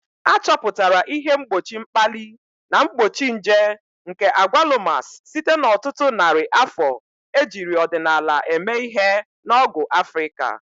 Achọpụtara ihe mgbochi mkpali na mgbochi nje nke Agwalumas site n'ọtụtụ narị afọ ejiri ọdịnala eme ihe na ọgwụ Africa.